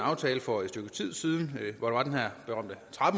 aftale for et stykke tid siden